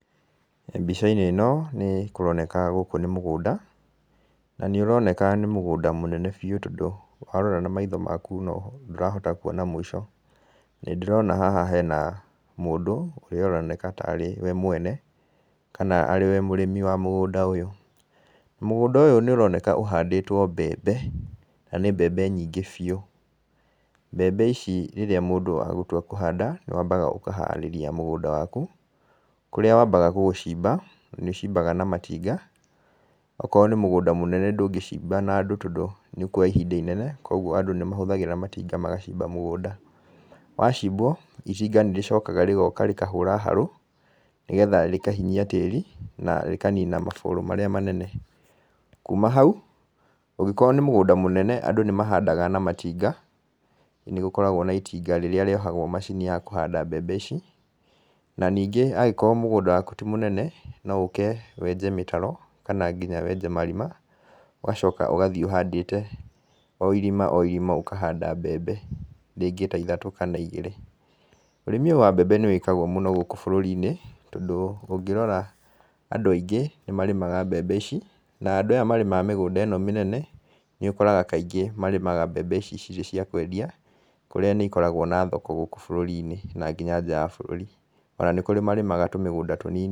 Mbica-inĩ ĩno nĩ kũroneka gũkũ nĩ mũgũnda, na nĩ ũroneka nĩ mũgũnda mũnene biũ, tondũ warora na maitho maku ndũrahota kuona mũico, nĩ ndĩrona haha hena mũndũ ũrĩa ũroneka tarĩ we mwene, kana ari we mũrĩmi wa mũgũnda ũyũ, mũgũnda ũyũ ũroneka ũhandĩtwo mbembe na nĩ mbembe nyingĩ biũ, mbembe ici rĩrĩa mũndũ agũtua kũhanda nĩ wambaga ũkaharĩria mũgũnda waku, kũrĩa wambaga gũgũcimba, nĩ ũcimbaga na matinga, okorwo nĩ mũgũnda mũnene ndũngĩcimba na andũ tondũ nĩ ũkuoya ihinda inene, koguo andũ nĩ mahũthagĩra matinga magacimba mũgũnda, wacimbwo itinga nĩ rĩcokaga rĩgoka rĩkahũra harũ, nĩgetha rĩkahinyia tĩri na rĩkanina mabũrũ marĩa manene, na kuma hau angĩkorwo nĩ mũgũnda mũnene andũ nĩ mahandaga na matinga, nĩgũkoragwo na itinga rĩrĩa rĩohagwo macini ya kũhanda mbembe ici, na ningĩ angĩkorwo mũgũnda waku ti mũnene, no ũke wenje mĩtaro kana ningĩ marima, ũgacoka ũgathiĩ ũhandĩte o irima o irima ũkahanda mbembe rĩngĩ ta ithatũ kana igĩrĩ, ũrĩmi ũyũ wa mbembe nĩ wĩkagwo mũno gũkũ bũrũri-inĩ, tondũ ũngĩrora andũ aingĩ nĩ marĩmaga mbembe ici, na andũ aya marĩmaga mĩgũnda ĩno mĩnene, nĩ ũkoraga kaingĩ marĩmaga mbembe ici cirĩ cia kwendia, kũrĩa nĩ ikoragwo na thoko gũkũ bũrũri-inĩ na nginya nja wa bũrũri, ona nĩ kũrĩ marĩmaga tũmĩgũnda tũnini.